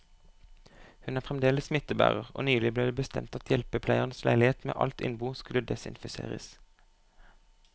Hun er fremdeles smittebærer, og nylig ble det bestemt at hjelpepleierens leilighet med alt innbo skulle desinfiseres.